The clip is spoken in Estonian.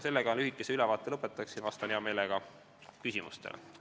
Sellega ma oma lühikese ülevaate lõpetan ja vastan hea meelega küsimustele.